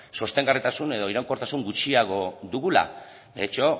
sostengarritasun edo iraunkortasun gutxiago dugula de hecho